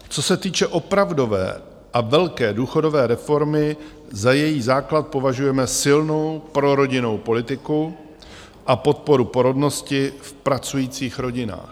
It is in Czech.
Co se týče opravdové a velké důchodové reformy, za její základ považujeme silnou prorodinnou politiku a podporu porodnosti v pracujících rodinách.